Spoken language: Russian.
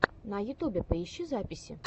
на ютубе поищи записи